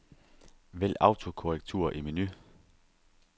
Vælg autokorrektur i menu.